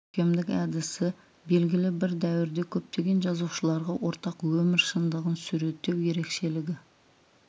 көркемдік әдіс белгілі бір дәуірде көптеген жазушыларға ортақ өмір шындығын суреттеу ерекшелігі